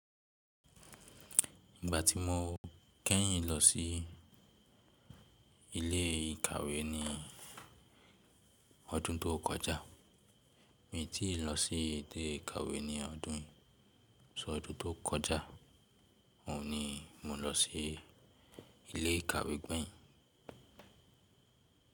Ìgbà tí mo kẹ́yìn lọ sí ilé ìkàwé ni ọdún tó kọjá, mi tìí lọ sí ilé ìkàwé ní ọdún yi só ọdún tó kọjá, òun ni mo lọ sí ilé ìkàwé gbẹ̀yìn.